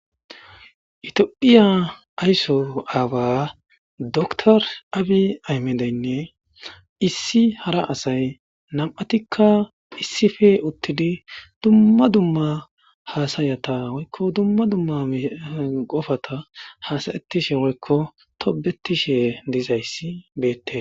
Ethiopia ayso awa doctor abiy ahimedeyinne issi hara asay nam'atika issippe utidi dumma dumma hasayata woyko dumma dumma qopata hasa'etishe woyko tobetishe dizaysi betesi.